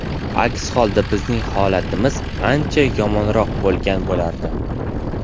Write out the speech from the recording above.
Aks holda bizning holatimiz ancha yomonroq bo‘lgan bo‘lardi.